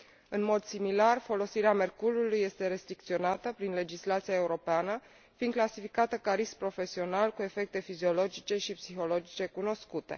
În mod similar, folosirea mercurului este restricționată prin legislația europeană, fiind clasificată ca risc profesional cu efecte fiziologice și psihologice cunoscute.